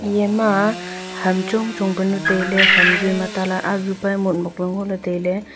iyama ham chong chong punu tailey ham zui ma ta la azupa motmok ley ngoley tailey.